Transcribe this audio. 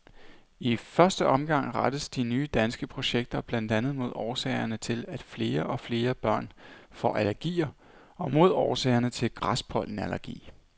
I første omgang rettes de nye danske projekter blandt andet mod årsagerne til, at flere og flere børn får allergier og mod årsagerne til græspollenallergi.